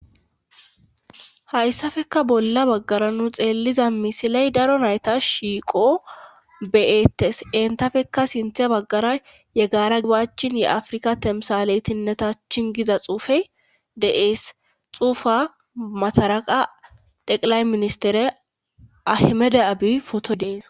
Hayssafeka bolla baggara nu xeelliza misiley daro nayta shiiqo beyettes entafekka sinthe baggara ye gaara gibachin ye afrika temsaleytinneta chingiza xuufey de7ees xuufa mataraqa teqilay ministere ahmede abi foto dees.